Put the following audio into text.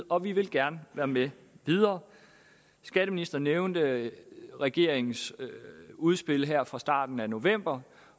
og vi vil gerne være med videre skatteministeren nævnte regeringens udspil her fra starten af november